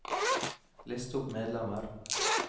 list opp medlemmer